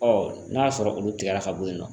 Ɔ n'a y'a sɔrɔ olu tigɛra ka bɔ yen nɔ